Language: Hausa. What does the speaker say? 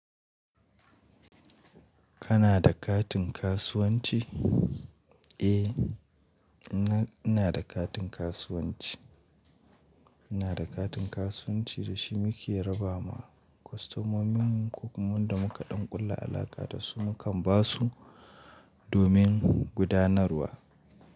Kana da katin kasuwanci? Eh, ina da katin kasuwanci. Ina da katin kasuwanci da shi muke raba ma kwastamomin mu ko kuma da muka ɗan ƙulla alaƙa da su mu kan ba su domin gudanarwa.